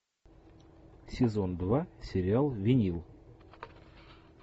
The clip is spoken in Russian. сезон два сериал винил